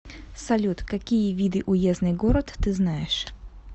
салют какие виды уездный город ты знаешь